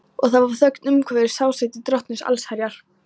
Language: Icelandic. Og það var þögn umhverfis hásæti Drottins allsherjar.